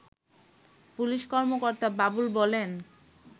police কর্মকর্তা বাবুল বলেন